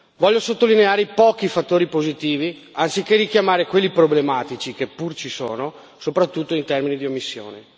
Voglio sottolineare i pochi fattori positivi, anziché richiamare quelli problematici, che pur ci sono, soprattutto in termini di omissioni.